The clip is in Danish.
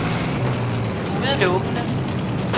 udelukkende